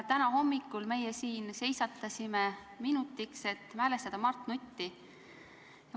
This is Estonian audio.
Täna hommikul me siin seisatasime minutiks, et mälestada Mart Nutti.